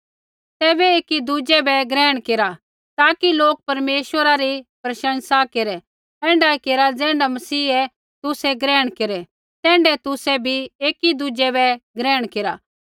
तैबै एकी दुज़ै बै ग्रहण केरा ताकि लोक परमेश्वरा री प्रशंसा केरै ऐण्ढाऐ केरा ज़ैण्ढा मसीहै तुसै ग्रहण केरै तैण्ढै तुसै भी एकी दुज़ै बै ग्रहण केरा